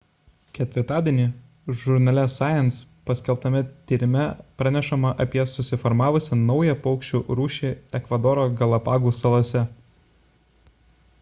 ketvirtadienį žurnale science paskelbtame tyrime pranešama apie susiformavusią naują paukščių rūšį ekvadoro galapagų salose